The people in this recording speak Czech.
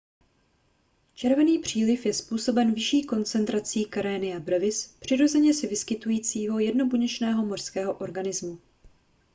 červený příliv je způsoben vyšší koncentrací karenia brevis přirozeně se vyskytujícího jednobuněčného mořského organismu